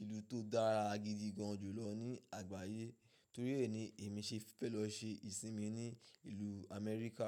ìlú tó dára gidi gan julọ̀ ní àgbáyé. Torí èyí ni èmi ṣe fẹ́ lọ ṣe ìsinmi ní ìlú Amẹ́ríkà.